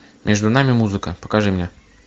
между нами музыка покажи мне